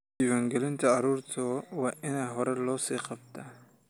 Diiwaangelinta carruurta waa in horay loo sii qabtaa.